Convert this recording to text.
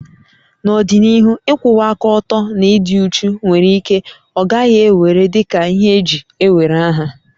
N'ọdịnihu, ịkwụwa aka ọtọ na ịdị uchu nwere ike ọ gaghị ewere dị ka ihe eji ewere aha